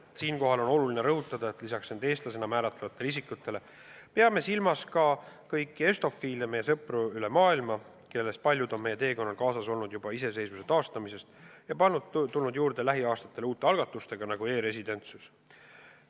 Siinkohal on oluline rõhutada, et lisaks end eestlasena määratlevatele inimestele peame silmas ka kõiki estofiile, meie sõpru üle maailma, kellest paljud on meie teekonnal kaasas olnud juba iseseisvuse taastamisest peale, paljud aga on tulnud juurde lähiaastatel seoses uute algatustega, nagu näiteks e-residentsus.